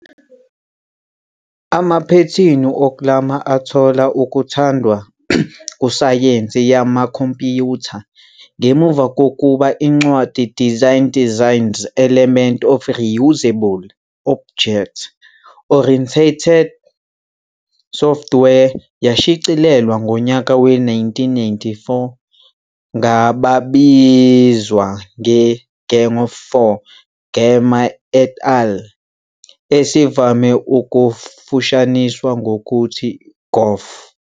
Amaphethini okuklama athola ukuthandwa kusayensi yamakhompiyutha ngemuva kokuba incwadi Design Designs- Elements of Reusable Object-Oriented Software yashicilelwa ngonyaka we-1994 ngababizwa nge- "Gang of Four", Gamma et al., Esivame ukufushaniswa ngokuthi "GoF".